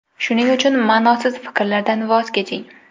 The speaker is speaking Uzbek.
Shuning uchun ma’nosiz fikrlardan voz keching.